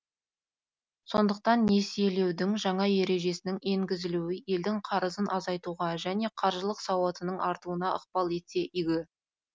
сондықтан несиелеудің жаңа ережесінің енгізілуі елдің қарызын азайтуға және қаржылық сауатының артуына ықпал етсе игі